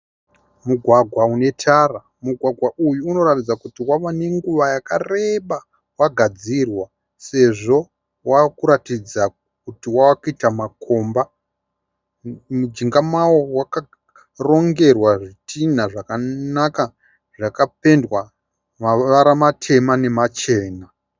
Mugwagwa unetara. Mugwagwa uyu unorataidza kuti wava nenguva yakareba sezvo wagadzirwa wava kuratidza kuti wava kuita makomba. Mujinga mawo wakarongerwa zvidhina zvakanaka zvakapendwa mavara matema nemachena.